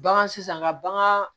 Bagan sisan ka bagan